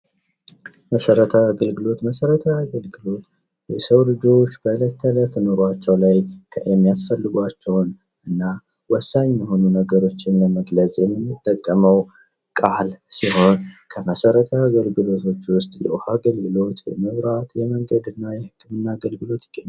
መሰረታዊ የአገልግሎት መሰረታዊ የአገልግሎት የሰው ልጆች በዕለት ተእለት ኑሯቸው ላይ የሚያስፈልጓቸውን እና ወሳኝ የሆኑ ነገሮችን ለመግለጽ የምንጠቀመው ቃል ሲሆን ከመሠረታዊ አገልግሎቶች ውስጥ የውሃ አገልግሎት ፣የመብራት፣ የመንገድና የህክምና አገልግሎት ይገኙበታል።